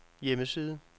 hjemmeside